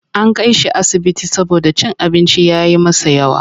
An kai shi asibiti saboda cin abinci ya yi masa yawa.